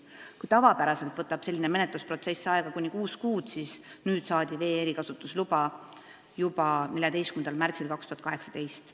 Kui tavapäraselt võtab selline menetlusprotsess aega kuni kuus kuud, siis nüüd saadi vee erikasutusluba juba 14. märtsil 2018.